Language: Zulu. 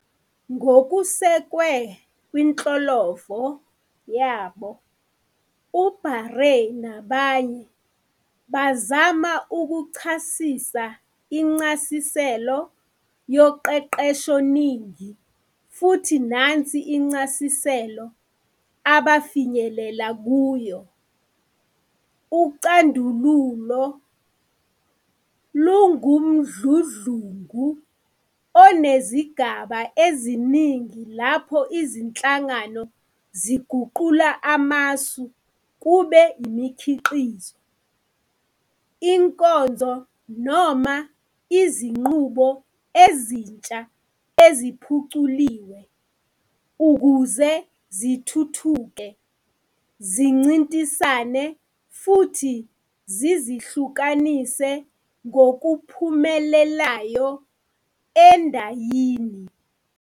Ngokusekwe kwinhlolovo yabo, uBaregheh nabanye, bazama ukuchasisa incasiselo yoqeqeshoningi futhi nansi incasiselo abafinyelela kuyo-"UCandululo lungumdludlungu onezigaba eziningi lapho izinhlangano ziguqula amasu kube imikhiqizo, inkonzo noma izinqubo ezintsha - eziphuculiwe, ukuze zithuthuke, zincintisane futhi zizihlukanise ngokuphumelelayo endayini."